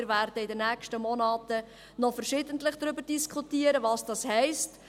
» Wir werden in den nächsten Monaten noch verschiedentlich darüber diskutieren, was das heisst.